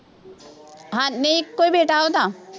ਹਾਂ ਨਹੀਂ ਇੱਕੋ ਹੀ ਬੇਟਾ ਉਹਦਾ,